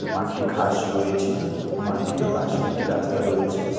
মাঠটি ঘাস রয়েছে মাঠের পাশে একটি রাস্তা রয়েছে।